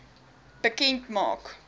bekend maak